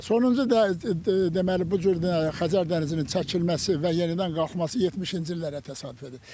Sonuncu deməli bu cür Xəzər dənizinin çəkilməsi və yenidən qalxması 70-ci illərə təsadüf edir.